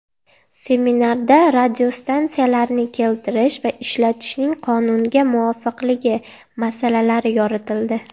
Seminarda radiostansiyalarni keltirish va ishlatishning qonunga muvofiqligi masalalari yoritildi.